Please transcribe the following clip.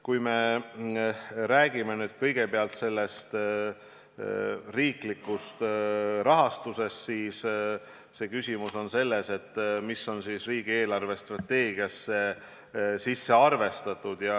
Kui me räägime kõigepealt riiklikust rahastusest, siis küsimus on selles, mis on riigi eelarvestrateegiasse sisse arvestatud.